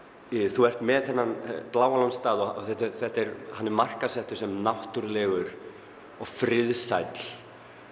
þú ert með þennan Bláa lóns stað og hann er markaðssettur sem náttúrulegur og friðsæll